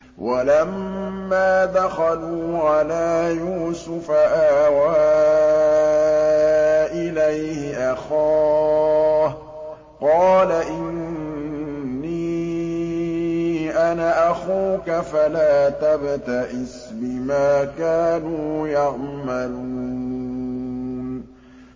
وَلَمَّا دَخَلُوا عَلَىٰ يُوسُفَ آوَىٰ إِلَيْهِ أَخَاهُ ۖ قَالَ إِنِّي أَنَا أَخُوكَ فَلَا تَبْتَئِسْ بِمَا كَانُوا يَعْمَلُونَ